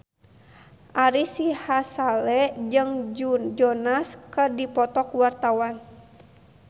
Ari Sihasale jeung Joe Jonas keur dipoto ku wartawan